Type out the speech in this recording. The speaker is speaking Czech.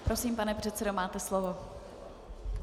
Prosím, pane předsedo, máte slovo.